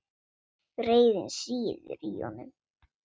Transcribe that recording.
Reiðin sýður í honum.